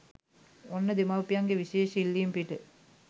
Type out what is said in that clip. ඔන්න දෙමාපියන්ගේ විශේෂ ඉල්ලීම පිට